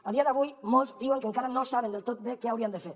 a dia d’avui molts diuen que encara no saben del tot bé què haurien de fer